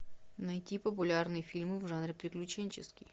найти популярные фильмы в жанре приключенческий